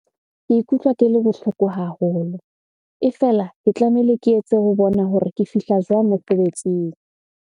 Ke ikutlwa ke le bohloko haholo. E fela, ke tlamehile ke etse ho bona hore ke fihla jwang mosebetsing.